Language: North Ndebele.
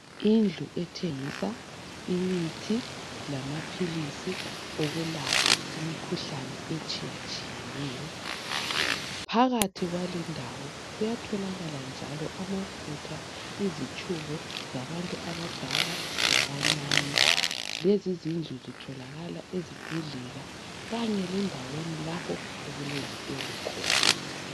Indlu ethengisa imithi lamaphilisi okulapha imikhuhlane etshiyatshiyeneyo. Phakathi kwalindawo kuyatholakala njalo amafutha, izitshubo zabantu abadala labancane. Lezi zindlu zitholakala ezibhedlela kanye lezindaweni okulezitolo khona.